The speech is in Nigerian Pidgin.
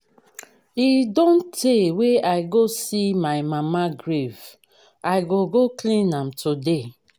e don tey wey i go see my mama grave i go go clean am today